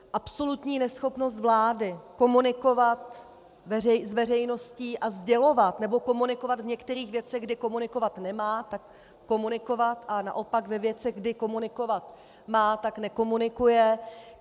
Absolutní neschopnost vlády komunikovat s veřejností a sdělovat, nebo komunikovat v některých věcech, kde komunikovat nemá, tak komunikovat, a naopak ve věcech, kdy komunikovat má, tak nekomunikuje.